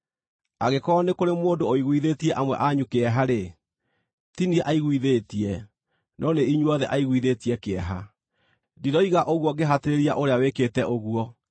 Angĩkorwo nĩ kũrĩ mũndũ ũiguithĩtie amwe anyu kĩeha-rĩ, ti niĩ aiguithĩtie, no nĩ inyuothe aiguithĩtie kĩeha. Ndiroiga ũguo ngĩhatĩrĩria ũrĩa wĩkĩte ũguo.